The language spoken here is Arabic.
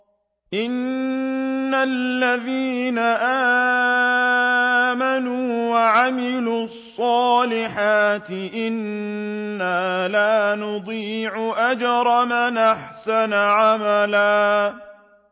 إِنَّ الَّذِينَ آمَنُوا وَعَمِلُوا الصَّالِحَاتِ إِنَّا لَا نُضِيعُ أَجْرَ مَنْ أَحْسَنَ عَمَلًا